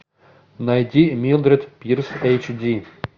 найди милдред пирс эйч ди